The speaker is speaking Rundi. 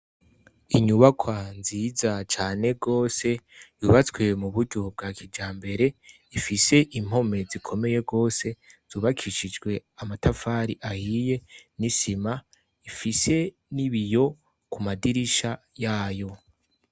Inyubakwa nziza cane gose yubatswe mu buryo bwa kijambere, ifise impome zikomeye gose zubakishijwe amatafari ahiye n'isima, ifise n'ibiyo ku madirisha yayo.